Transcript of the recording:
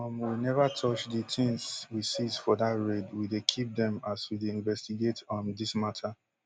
um we neva touch di tins we seize for dat raid we dey keep dem as we dey investigate um dis mata